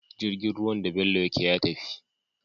Jirgin ruwan da bello yake ya tafi